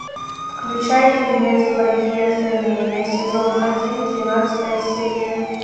включай фильмец благие знамения сезон один тринадцатая серия